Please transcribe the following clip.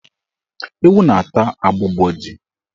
Ewu na-ata agbụgbọ ji.